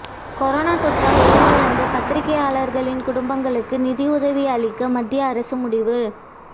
corona தொற்றால் உயிரிழந்த பத்திரிகையாளர்களின் குடும்பங்களுக்கு நிதியுதவி அளிக்க மத்திய அரசு முடிவு